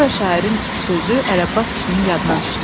Sonra şairin sözü Ələbbas kişinin yadına düşdü.